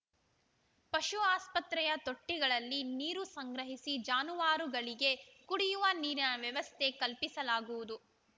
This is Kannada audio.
ಪಶು ಆಸ್ಪತ್ರೆಯ ತೊಟ್ಟಿಗಳಲ್ಲಿ ನೀರು ಸಂಗ್ರಹಿಸಿ ಜಾನುವಾರುಗಳಿಗೆ ಕುಡಿಯುವ ನೀರಿನ ವ್ಯವಸ್ಥೆ ಕಲ್ಪಿಸಲಾಗುವುದು